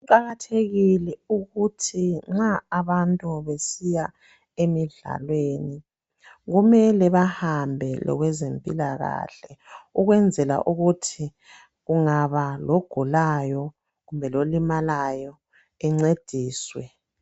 Kuqakathekile ukuthi nxa abantu besiya emidlalweni kumele bahambe lokwezempilakahle ukwenzela ukuthi kungaba logulayo kumbe lolimalayo ancediswe